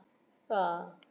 Og ég kippi honum upp úr.